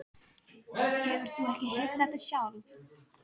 Hefur þú ekki heyrt þetta sjálf?